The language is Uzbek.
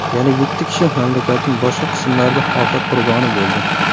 Yana yetti kishi mamlakatning boshqa qismlarida ofat qurboni bo‘ldi.